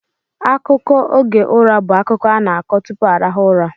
Akụkọ oge ụra bụ akụkọ a na-akọ tupu arahụ ụra.